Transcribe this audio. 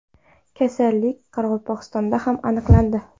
Kasallik Qoraqalpog‘istonda ham aniqlandi.